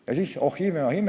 Ja siis – oh ime, oh ime!